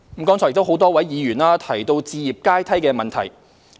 剛才多位議員提到置業階梯的問題。